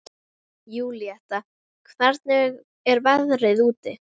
Júlíetta, hvernig er veðrið úti?